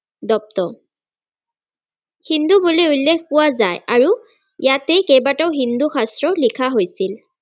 দত্ত হিন্দু বুলি উল্লেখ পোৱা যায় আৰু ইয়াতেই কেইবাটাও হিন্দু শাস্ত্ৰ লিখা হৈছিল।